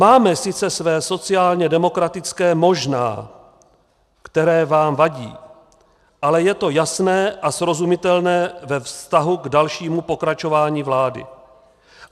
Máme sice své sociálně demokratické možná, které vám vadí, ale je to jasné a srozumitelné ve vztahu k dalšímu pokračování vlády.